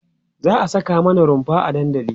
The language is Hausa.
za'a Saka mana runfa a dandali